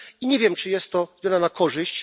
I nie wiem, czy jest to zmiana na korzyść.